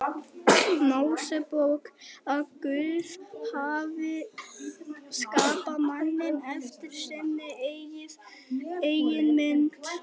Mósebók að Guð hafi skapað manninn eftir sinni eigin mynd.